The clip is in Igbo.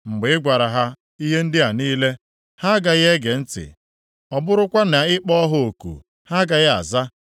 “Mgbe ị gwara ha ihe ndị a niile, ha agaghị ege ntị. Ọ bụrụkwa na ị kpọọ ha oku ha agaghị aza.